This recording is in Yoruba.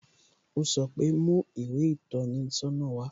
O sọ pe "Mú ìwé ìtọ́ni sọ́nà wá"